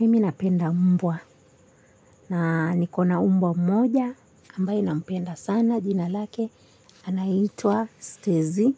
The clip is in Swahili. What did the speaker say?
Mimi napenda mbwa na niko na mbwa mmoja ambaye nampenda sana jina lake anaitwa stezi.